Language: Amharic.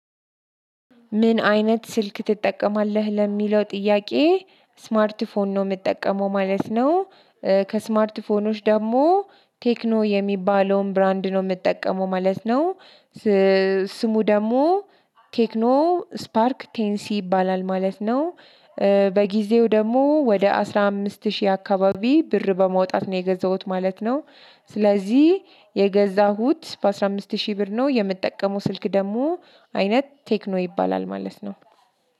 ምን አይነት ስልክ ትጠቀማለህ ለሚለው ጥያቄ? ስማርት ፎን ነው የምጠቀመው ማለት ነው። ከስማርት ፎኖች ደግሞ ቴክኖ የሚባለውን ብራንድ ነው የምጠቀመው ማለት ነው። ስሙ ደግሞ ቴክኖ ስፓርክ ቴን ሲ ይባላል ማለት ነው። በጊዜው ደግሞ ወደ አስራ አምስት ሺህ አካባቢ ብር በማውጣት ነው የገዛሁት ማለት ነው። ስለዚህ የገዛሁት በአስራ አምስት ሺህ ብር ነው የምጠቀመው ስልክ ደግሞ አይነት ቴክኖ ይባላል ማለት ነው።